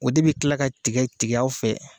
O de bɛ kila ka tigɛ tigɛ aw fɛ.